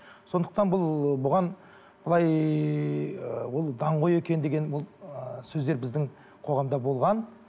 сондықтан бұл ы бұған былай ы ол даңғой екен деген ол ы сөздер біздің қоғамда болған